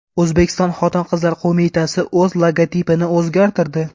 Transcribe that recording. O‘zbekiston Xotin-qizlar qo‘mitasi o‘z logotipini o‘zgartirdi.